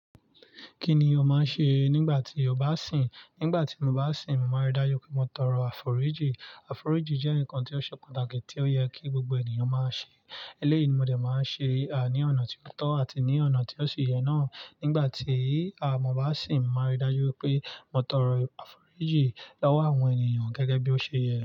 Kí ni o máa ń ṣe nígbà tí o bá sìn? Nígbà tí mo bá sìn, màá rí dájú pé mo tọrọ àforíjì. Àforíjì jẹ́ nǹkan tó ṣe pàtàkì tí ó yẹ kí gbogbo ènìyàn máa ṣe. Eléyìí ni mo dè máa ń ṣe ní ọ̀nà tí ó tọ́ àti ní ọ̀nà tí ó ṣe yẹ náà. Nígbà tí à mo bá sìn, màá rí dájú pé mo tọrọ àforíjì lọ́wọ́ àwọn ènìyàn gẹ́gẹ́ bí ó ṣe yẹ.